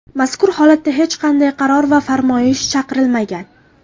Mazkur holatda hech qanday qaror va farmoyish chiqarilmagan.